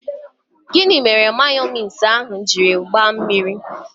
Gịnị mere mayonise ahụ jiri gbaa mmiri?